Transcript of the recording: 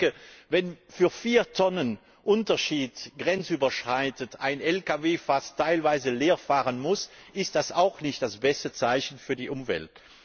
Denn ich denke, wenn für vier Tonnen Unterschied ein Lkw grenzüberschreitend teilweise fast leer fahren muss, ist das auch nicht das beste Zeichen für die Umwelt.